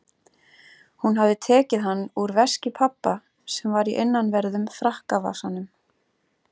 Hún hafði tekið hann úr veski pabba sem var í innanverðum frakkavasanum.